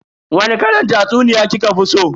Wani kalan tatsuniya kika fi so?